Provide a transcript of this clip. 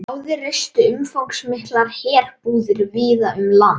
Báðir reistu umfangsmiklar herbúðir víða um land.